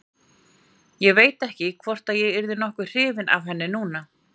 Ég veit ekki hvort ég yrði nokkuð hrifinn af henni núna.